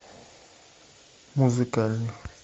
музыкальный